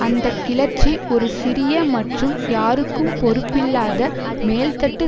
அந்த கிளர்ச்சி ஒரு சிறிய மற்றும் யாருக்கும் பொறுப்பில்லாத மேல்தட்டு